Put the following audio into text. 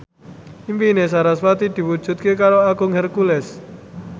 impine sarasvati diwujudke karo Agung Hercules